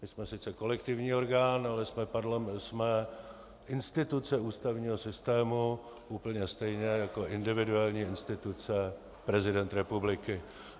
My jsme sice kolektivní orgán, ale jsme instituce ústavního systému úplně stejně jako individuální instituce prezident republiky.